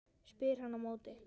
spyr hann á móti.